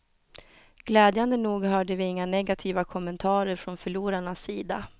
Glädjande nog hörde vi inga negativa kommentarer från förlorarnas sida.